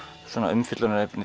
umfjöllunarefni